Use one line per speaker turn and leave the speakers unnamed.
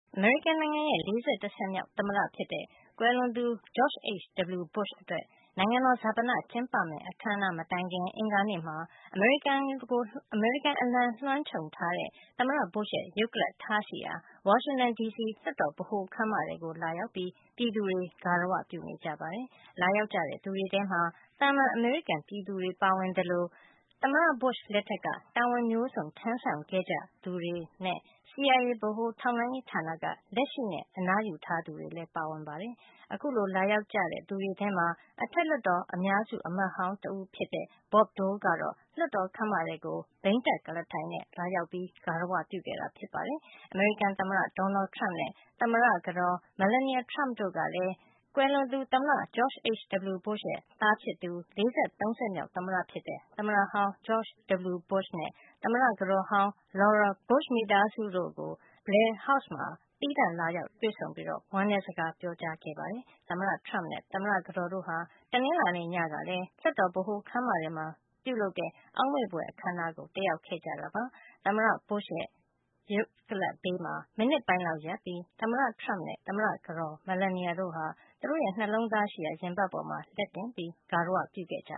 အမေရိကန်နိုင်ငံရဲ့ ၄၁ ဆက်မြောက် သမ္မတဖြစ်တဲ့ ကွယ်လွန်သူ George H.W. Bush အတွက် နိုင်ငံတော် ဈာပန အခန်းအနား မကျင်းပခင် အင်္ဂါနေ့မှာ အမေရိကန်အလံလွှမ်းခြုံထားတဲ့ သမ္မတ Bush ရဲ့ ရုပ်ကလပ်ထားရှိရာ ဝါရှင်တန် ဒီစီက လွှတ်တော် ဗဟိုခန်းမထဲကို ပြည်သူတွေ တဖွဲဖွဲ လာရောက် ဂါရဝပြုနေကြပါတယ်။ လာရောက်ကြသူတွေထဲမှာ သာမန် အမေရိကန်ပြည်သူတွေ ပါဝင်သလို သမ္မတ Bush လက်ထက်က တာဝန်မျိုးစုံ ထမ်းဆောင်ခဲ့ကြသူတွေနဲ့ CIA ဗဟိုထောက်လှန်းရေးဌာနက လက်ရှိနဲ့ အနားယူထားသူတွေလည်း ပါဝင်ကြပါတယ်။ ဒီအထဲမှာ အထက်လွှတ်တော် အများစု အမတ်ဟောင်း တဦးဖြစ်တဲ့ Bob Dole ကတော့ လွှတ်တော် ခန်းမထဲကို ဘီးတပ်ကုလားထိုင်နဲ့ လာရောက်ပြီး ဂါရဝ ပြုခဲ့တာပါ။ အမေရိကန် သမ္မတ Donald Trump နဲ့ သမ္မတ ကတော် Melania Trump တို့ကလည်း ကွယ်လွန်သူ သမ္မတ George H.W. Bush ရဲ့ သားဖြစ်သူ ၄၃ ဆက်မြောက် သမ္မတဖြစ်တဲ့ သမ္မတဟောင်း George W. Bush ၊ သမ္မတကတော်ဟောင်း Laura Bush နဲ့ Bush မိသားစုတို့ကို Blair House မှာ သီးသန့် လာရောက် တွေ့ဆုံပြီး ဝမ်းနည်းစကား ပြောကြားခဲ့ကြပါတယ်။ သမ္မတ Trump နဲ့ သမ္မတကတော်တို့ဟာ တနင်္လာနေ့ ညကလည်း လွှတ်တော် ဗဟိုခန်းမထဲမှာ ပြုလုပ်တဲ့ အောက်မေ့ဘွယ် အခမ်းအနားကို တက်ရောက်ခဲ့ကြပါတယ်။ သမ္မတ Bush ရဲ့ ရုပ်ကလပ်ဘေးမှာ သမ္မတ Trump နဲ့သမ္မတကတော် တို့ဟာ မိနစ်ပိုင်းလောက် ငြိမ်သက်စွာ ရပ်ပြီး နှလုံးသားရှိရာ ရင်ဘတ်ပေါ်မှာ လက်တင်ပြီး ဂါရဝ ပြုခဲ့ကြ